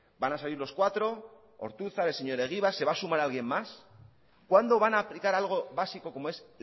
van a salir los cuatro ortuzar el señor egibar se va a sumar alguien más cuándo van a aplicar algo básico como es